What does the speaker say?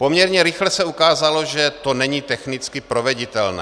Poměrně rychle se ukázalo, že to není technicky proveditelné.